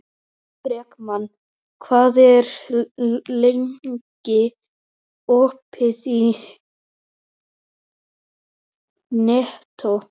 Bergmann, hvað er lengi opið í Nettó?